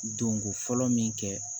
Donko fɔlɔ min kɛ